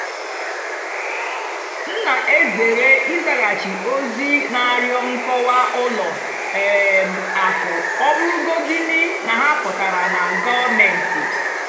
m nà-èzèré ị́zàgháchì ózì nà-àrịọ́ nkọ́wá ùlọ um àkụ́ ọ́ bụ́rụ́gódìní ná hà pụ́tárá nà gọ́ọ̀méntị́.